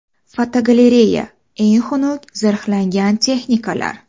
Fotogalereya: Eng xunuk zirhlangan texnikalar.